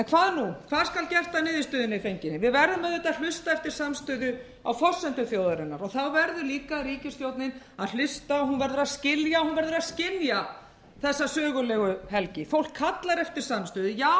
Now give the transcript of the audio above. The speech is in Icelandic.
niðurstöðunni fenginni við verðum auðvitað að hlusta eftir samstöðu á forsendum þjóðarinnar og þá verður líka ríkisstjórnin að hlusta og hún verður að skilja þessa sögulegu helgi fólkið kallar eftir samstöðu já við viljum